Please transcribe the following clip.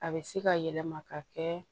A bɛ se ka yɛlɛma ka kɛ